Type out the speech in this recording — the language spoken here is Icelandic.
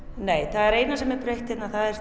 það eina sem er breytt hérna er